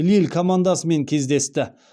лилль командасымен кездесті